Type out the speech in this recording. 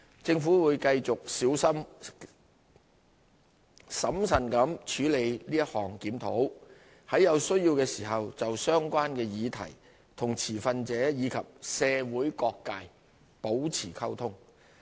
政府會繼續小心審慎地處理此項檢討，在有需要時就相關的議題與持份者及社會各界保持溝通。